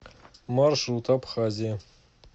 маршрут абхазия